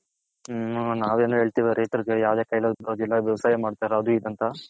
ಹಾ ನಾವ್ ಏನೋ ಹೇಳ್ತೀರಿ ರೈತ್ಹರ್ ವ್ಯವಸಾಯ ಮಾಡ್ತಾರೆ ಅದು ಇದು ಅಂತ.